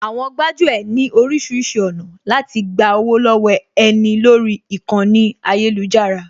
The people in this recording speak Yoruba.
Àwọn gbájú ẹ̀ ní oríṣiríṣi ọ̀nà láti gba owó lọ́wọ́ ẹni lórí ìkànnì ayélujára